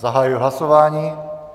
Zahajuji hlasování.